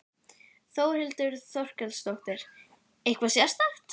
Þórhildur Þorkelsdóttir: Eitthvað sérstakt?